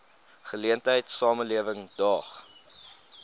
geleentheid samelewing daag